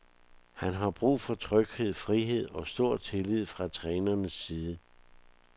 Han har brug for tryghed, frihed og stor tillid fra trænerens side.